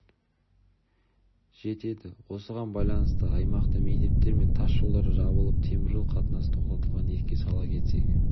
жетеді осыған байланысты аймақта мектептер мен тас жолдар жабылып теміржол қатынасы тоқтатылған еске сала кетсек